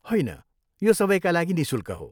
होइन, यो सबैका लागि निःशुल्क हो।